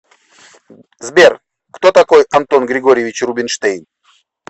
сбер кто такой антон григорьевич рубинштейн